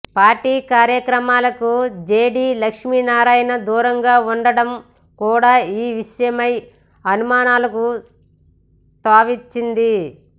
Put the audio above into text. party కార్యక్రమాలకు JD Lakshminarayana దూరంగా ఉండడం కూడ ఈ విషయమై అనుమానాలకు తావిచ్చింది